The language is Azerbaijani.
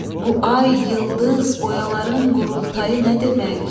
Bu ay, yıldız, boyaların qurultayı nə demək?